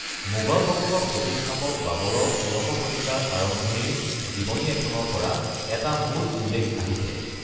মোগল বংশৰ প্ৰতিষ্ঠাপক বাবৰৰ ষোড়শ শতিকাৰ আৰম্ভণিৰ জীৱনী এখনৰ পৰা এটা মূল উল্লেখ আহিছে।